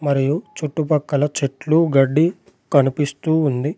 మరియు చుట్టుపక్కల చెట్లు గడ్డి కనిపిస్తూ ఉంది.